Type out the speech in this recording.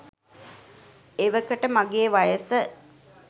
එවකට මගේ වයස